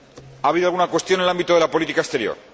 Ha habido alguna cuestión en el ámbito de la política exterior.